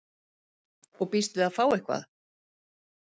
Og býst við að fá eitthvað?